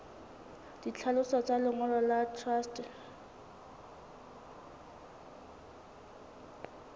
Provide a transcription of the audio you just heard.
ditlhaloso tsa lengolo la truste